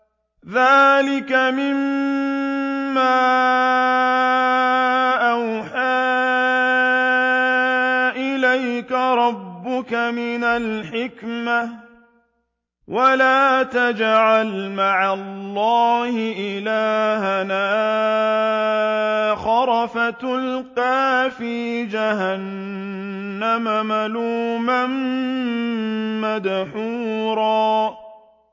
ذَٰلِكَ مِمَّا أَوْحَىٰ إِلَيْكَ رَبُّكَ مِنَ الْحِكْمَةِ ۗ وَلَا تَجْعَلْ مَعَ اللَّهِ إِلَٰهًا آخَرَ فَتُلْقَىٰ فِي جَهَنَّمَ مَلُومًا مَّدْحُورًا